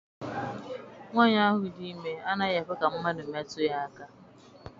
Nwaanyi ahụ dị ime anaghị ekwe ka mmadụ metụ ya aka.